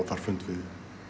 þar fund við